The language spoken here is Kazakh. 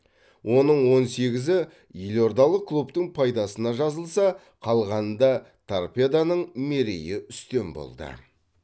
оның он сегізі елордалық клубтың пайдасына жазылса қалғанында торпедоның мерейі үстем болды